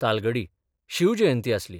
तालगडी शिवजयंती आसली.